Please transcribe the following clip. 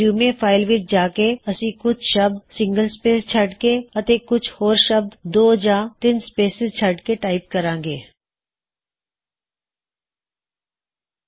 resume file ਵਿੱਚ ਜਾ ਕੇ ਅਸੀ ਕੁਛ ਸ਼ਬਦ ਇਕ ਸਪੇਸ ਛੱਡ ਕੇ ਅਤੇ ਕੁਛ ਹੋਰ ਸ਼ਬਦ ਦੋ ਜਾਂ ਤਿੱਨ ਸਪੇਸਿਜ਼ ਛੱਡ ਕੇ ਟਾਇਪ ਕਰਾਂ ਗੇ